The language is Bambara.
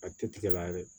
A tɛ tigɛ la yɛrɛ